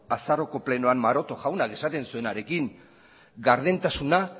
azaroaren plenoan maroto jaunak esaten zuenarekin gardentasuna